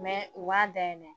u k'a dayɛlɛ.